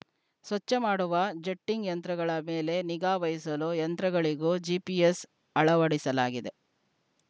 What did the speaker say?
ಸ್ವಚ್ಛ ಮಾಡುವ ಜಟ್ಟಿಂಗ್‌ ಯಂತ್ರಗಳ ಮೇಲೆ ನಿಗಾ ವಹಿಸಲು ಯಂತ್ರಗಳಿಗೂ ಜಿಪಿಎಸ್‌ ಅಳವಡಿಸಲಾಗಿದೆ